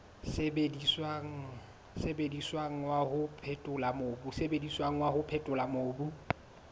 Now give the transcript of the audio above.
sebediswang wa ho phethola mobu